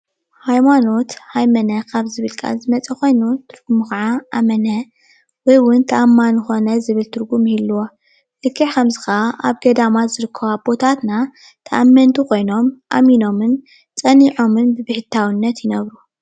ሃይማኖት ሃይመነ ካብ ዝብል ቃል ዝመፀ ኾይኑ እሞ ኽዓ ኣመነ ወይ እዉን ተኣማኒ ኾነ ዝብል ትርጉም ይህልዎ፡፡ ልክዕ ከምዚ ክዓ ኣብ ገዳማት ዝርከቡ ኣቦታትና ተኣመንቲ ኮይኖም ኣሚኖምን ፀኒዖምን ብብሕታዉነት ይነብሩ፡፡